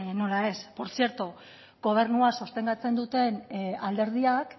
nola ez portzierto gobernua sostengatzen duten alderdiak